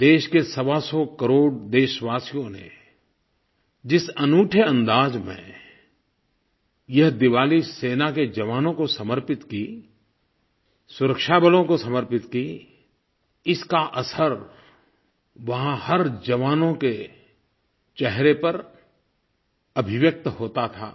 देश के सवासौ करोड़ देशवासियों ने जिस अनूठे अंदाज़ में यह दिवाली सेना के जवानों को समर्पित की सुरक्षा बलों को समर्पित की इसका असर वहाँ हर जवानों के चेहरे पर अभिव्यक्त होता था